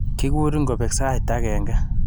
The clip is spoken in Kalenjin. Kikurin ngobek sait agenge.